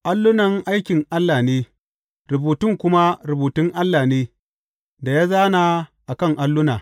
Allunan aikin Allah ne; rubutun kuma rubutun Allah ne, da ya zāna a kan alluna.